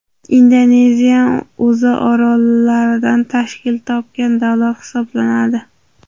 Indoneziyan o‘zi orollardan tashkil topgan davlat hisoblanadi.